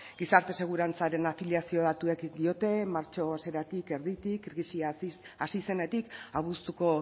gizarte segurantzaren afiliazio datuek diote martxo hasieratik erditik krisia hasi zenetik abuztuko